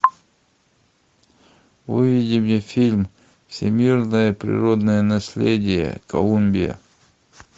выведи мне фильм всемирное природное наследие колумбия